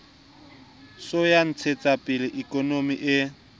sa ho ntshetsapele ikonomi e